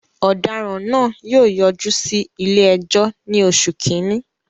Ọ̀daràn náà yóò yọjú sí ilé-ẹjọ́ ní oṣù kìíní.